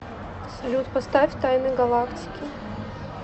салют поставь тайны галактики